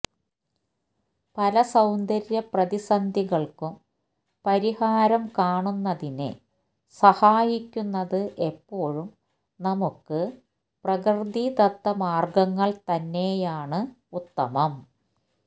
പല സൌന്ദര്യ പ്രതിസന്ധികള്ക്കും പരിഹാരം കാണുന്നതിന് സഹായിക്കുന്നത് എപ്പോഴും നമുക്ക് പ്രകൃതിദത്ത മാർഗ്ഗങ്ങൾ തന്നെയാണ് ഉത്തമം